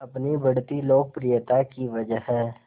अपनी बढ़ती लोकप्रियता की वजह